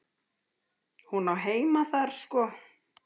Hún á heima þar sko.